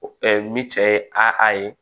ni cɛ ye a a ye